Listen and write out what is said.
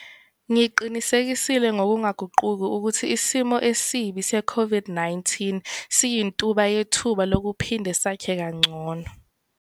Ngiqinisekisile ngokungaguquki ukuthi isimo esibi se-COVID-19 siyintuba yethuba lokuphinde sakhe kangcono.